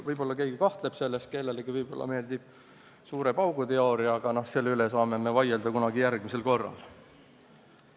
Võib-olla keegi kahtleb selles, kellelegi võib-olla meeldib suure paugu teooria, aga no selle üle saame me vaileda kunagi järgmisel korral.